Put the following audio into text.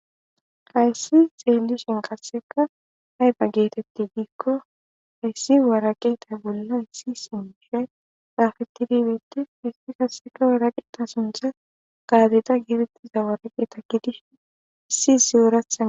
hayssi xeeli shin qasseka hayfa geetetti diikko hayssi waraqeta bolla issi sinjishay saafeti dibitti histi kaseka waraqita suntha gaadita gierettiza waraqe takidi issi ziurathae